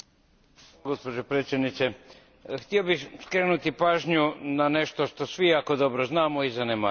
Gospođo predsjednice, htio bih skrenuti pažnju na nešto što svi jako dobro znamo i zanemarujemo.